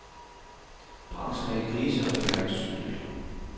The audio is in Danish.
Branchen er i krise, og det mærkes tydeligt.